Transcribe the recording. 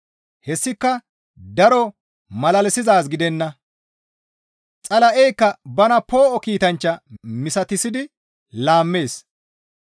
Hessika daro malalisizaaz gidenna; Xala7eykka bana poo7o kiitanchcha misatissidi laammeettes.